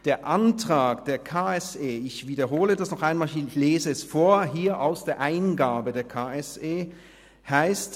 Zum Antrag des KSE Bern: Ich wiederhole das noch einmal, ich lese hier aus der Eingabe des KSE Bern vor.